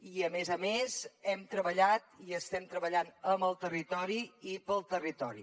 i a més a més hem treballat i estem treballant amb el territori i pel territori